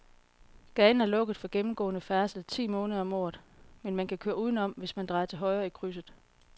Gaden er lukket for gennemgående færdsel ti måneder om året, men man kan køre udenom, hvis man drejer til højre i krydset.